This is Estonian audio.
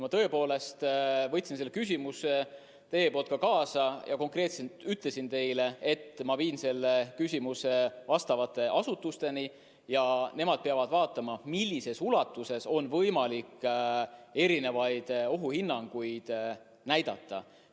Ma tõepoolest võtsin selle teie küsimuse kaasa ja konkreetselt ütlesin teile, et ma viin selle küsimuse asjaomaste asutusteni ja nemad peavad vaatama, millises ulatuses on võimalik erinevaid ohuhinnanguid näidata.